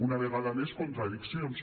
una vegada més contradiccions